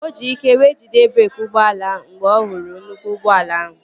O ji ike wee jide breeki ụgbọala ahụ mgbe ọ hụrụ nnukwu ụgbọala ahụ